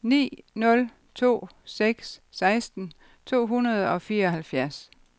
ni nul to seks seksten to hundrede og fireoghalvfjerds